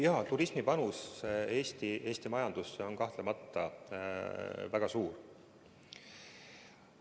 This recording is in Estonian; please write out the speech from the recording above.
Jaa, turismi panus Eesti majandusse on kahtlemata väga suur.